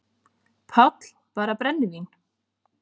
PÁLL: Bara brennivín!